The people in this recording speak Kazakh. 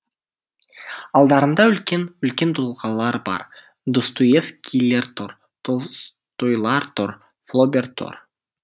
алдарында үлкен үлкен тұлғалар бар достоевскийлер тұр толстойлар тұр флобер тұр